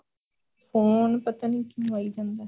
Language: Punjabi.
phone ਪਤਾ ਨੀ ਕਿ ਹੋਈ ਜਾਂਦਾ